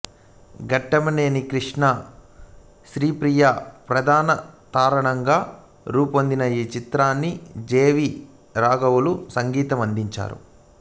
ఘట్టమనేని కృష్ణ శ్రీప్రియ ప్రధాన తారాగణంగా రూపొందిన ఈ చిత్రానికి జె వి రాఘవులు సంగీతాన్నందించాడు